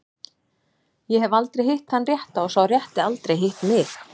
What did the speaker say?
Ég hef aldrei hitt þann rétta og sá rétti aldrei hitt mig.